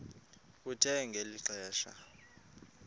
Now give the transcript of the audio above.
kuthe ngeli xesha